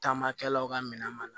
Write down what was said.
Taamakɛlaw ka minɛn mana